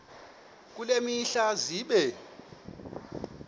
kule mihla zibe